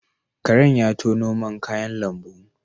Karen ya tono man kayan lambu